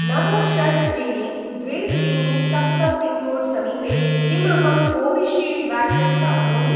नव षट् त्रीणि द्वे त्रीणि सप्त पिन्कोड् समीपे किम् अहं कोविशील्ड् व्याक्सीन् प्राप्नोमि?